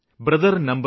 brothel no